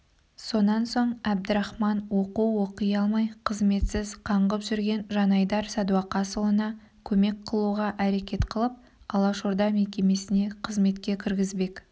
сонан соң әбдірахман оқу оқи алмай қызметсіз қаңғып жүрген жанайдар сәдуақасұлына көмек қылуға әрекет қылып алашорда мекемесіне қызметке кіргізбек